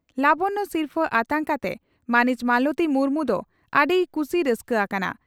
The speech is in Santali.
ᱞᱟᱵᱚᱱᱭᱚ ᱥᱤᱨᱯᱷᱟᱹ ᱟᱛᱟᱝ ᱠᱟᱛᱮ ᱢᱟᱹᱱᱤᱡ ᱢᱟᱞᱚᱛᱤ ᱢᱩᱨᱢᱩ ᱫᱚ ᱟᱹᱰᱤᱭ ᱠᱩᱥᱤ ᱨᱟᱹᱥᱠᱟᱹ ᱟᱠᱟᱱᱟ ᱾